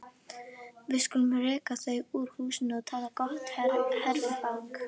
Við skulum reka þau úr húsum og taka gott herfang!